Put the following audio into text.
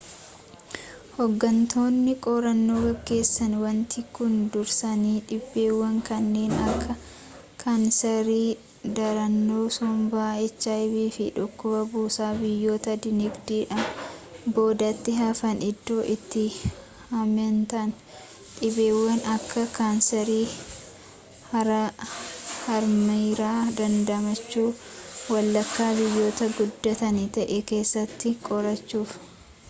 hooggantoonni qorannoo geggeessan wanti kun dursanii dhibeewwan kanneen akka kaanseeri, darannoo sombaa hiv fi dhukkuba busaa biyyoota dinagdeedhaan boodatti hafan iddoo itti hammeentaan dhibeewwan akka kaanseerii harmaairraa dandamachuu walakkaa biyyoota guddatanii ta’e keessatti qorachuuf